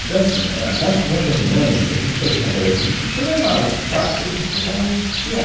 Então assim, ah, nas, nas reuniões, a gente fazia uma avaliação disso e programava que fatos a gente vai criar.